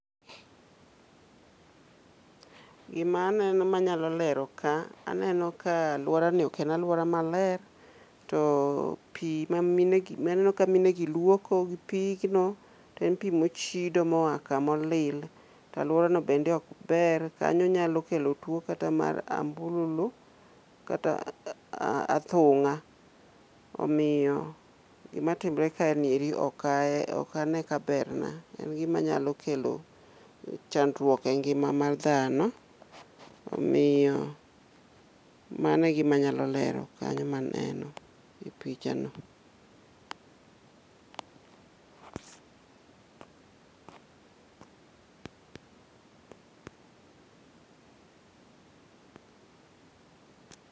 Gima aneno manyalo lero ka, aneno ka alwora ni ok en alwora maler. To pi ma minegi maneno ka mine gi luoko gi pigno, to en pi mochido moa kamolil. To alworano bende ok ber, kanyo nyalo kelo tuo kata mar ambululu kata athung'a. Omiyo gima timore ka ni eri ok ahe okane ka berna. En gima nyalo kelo chandruok e ngima ar dhano, omiyo mano e gima anyalo lero kanyo maneno e picha no.